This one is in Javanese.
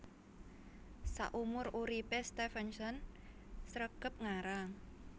Saumur uripé Stevenson sregep ngarang